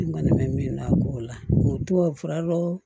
tubabu fura dɔ